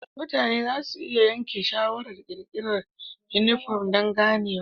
Mutane za su iya yanke shawarar ƙirƙirar yunifom don ganewa.